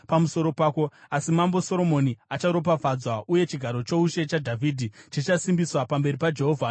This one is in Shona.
Asi Mambo Soromoni acharopafadzwa, uye chigaro choushe chaDhavhidhi chichasimbiswa pamberi paJehovha nokusingaperi.”